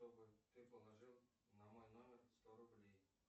чтобы ты положил на мой номер сто рублей